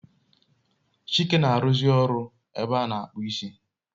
Chike na aruzi oru na ebe a na akpu isi